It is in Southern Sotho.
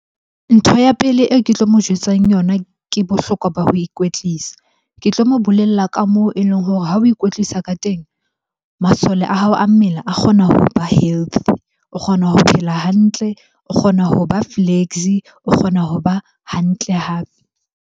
Ntho ya pele eo ke tlo mo jwetsang yona ke bohlokwa ba ho ikwetlisa. Ke tlo mo bolella ka moo e leng hore ha o ikwetlisa ka teng, masole a hao a mmele a kgona hoba healthy. O kgona ho phela hantle, o kgona ho ba flexy, o kgona hoba hantle hape.